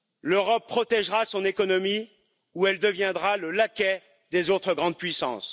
L'Europe protégera son économie ou elle deviendra le laquais des autres grandes puissances.